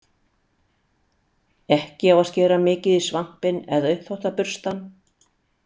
Ekki á að skera mikið í svampinn eða uppþvottaburstann.